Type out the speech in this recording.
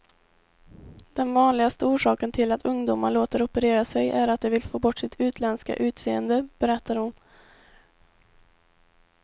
Den vanligaste orsaken till att ungdomar låter operera sig är att de vill få bort sitt utländska utseende, berättar hon.